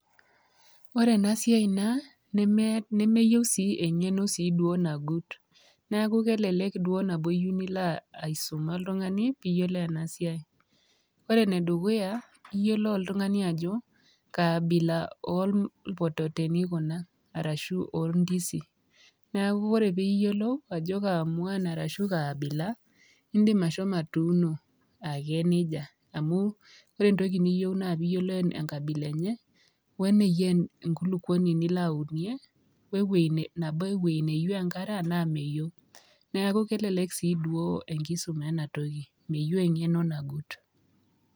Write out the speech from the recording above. Ore ena siai naa, nemeyieu sii engeno sii duo nagut, neeku kelelek duo nabo iyieu nilo aisuma oltungani pii yiolou ena siai ,ore ene dukuya ,iyiolou oltungani ajo kaa abila orpototoni Kuna orashu oorndizi. neeku ore pee iyiolou ajo kaamuan orashu kaa abila indim ashomo atuuno ake nejia amu ore entoki niyieu na piiyiolou enkabila enye we niyia enkulukuoni nilo aunie nabo we weji neyioeu enkare enaa meyeu.